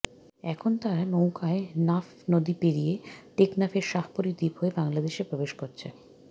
এখন তারা নৌকায় নাফ নদী পেরিয়ে টেকনাফের শাহপরী দ্বীপ হয়ে বাংলাদেশে প্রবেশ করছে